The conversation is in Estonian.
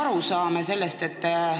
Kuidas me sellest aru saame?